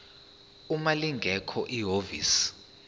uma lingekho ihhovisi